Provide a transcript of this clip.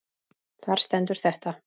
Þar stendur þetta